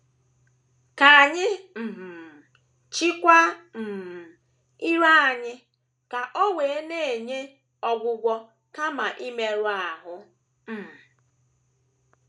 Ka anyị um chịkwaa um ire anyị ka o wee na - enye ọgwụgwọ kama imerụ um ahụ.